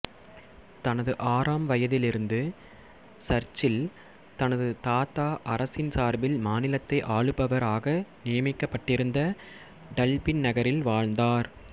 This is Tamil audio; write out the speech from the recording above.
தனது ஆறாம் வயதிலிருந்து சர்ச்சில் தனது தாத்தா அரசின் சார்பில் மாநிலத்தை ஆளுபவர் ஆக நியமிக்கப்பட்டிருந்த டல்பின் நகரில் வாழ்ந்தார்